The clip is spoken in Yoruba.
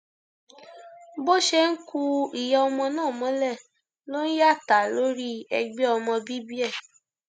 bó ṣe ń ku ìyá ọmọ náà mọlẹ ló ń yàtà lórí ẹgbẹ ọmọ bíbí ẹ